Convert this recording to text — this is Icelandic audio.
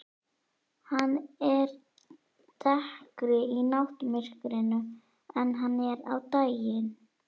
Hann er dekkri í náttmyrkrinu en hann er á daginn.